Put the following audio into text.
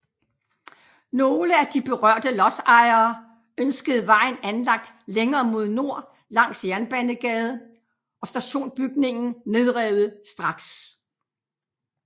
Nogle af de berørte lodsejere ønskede vejen anlagt længere mod nord langs Jernbanegade og stationsbygningen nedrevet straks